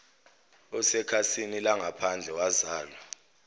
osekhasini langaphandle wazalwa